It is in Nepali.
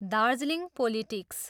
दार्जिलिङ पोलिटिक्स।